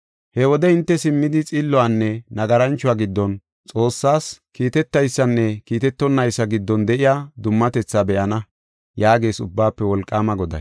He wode hinte simmidi xilluwanne nagaranchuwa giddon, Xoossas kiiteteysanne kiitetonaysa giddon de7iya dummatethaa be7ana” yaagees Ubbaafe Wolqaama Goday.